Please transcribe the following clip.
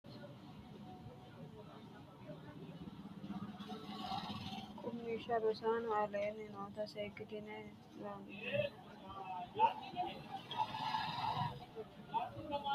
Qummishsha Rosaano, aleenni noota seekkitine Lollonga: daalasu aanani kaaroni hocci yaano Qaalu giddo noo la’ini? ha’runsitini? qaagiissitannonketi ayeeti? hasiissannonke? Fushshitini?